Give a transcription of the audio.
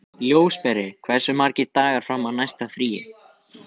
Ljósberi, hversu margir dagar fram að næsta fríi?